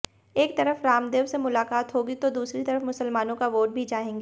एक तरफ रामदेव से मुलाकात होगी तो दूसरी तरफ मुसलमानों का वोट भी चाहेंगे